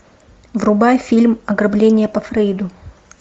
врубай фильм ограбление по фрейду